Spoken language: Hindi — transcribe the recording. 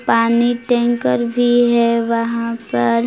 पानी टैंकर भी है वहां पर।